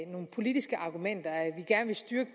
nogle politiske argumenter nemlig at vi gerne vil styrke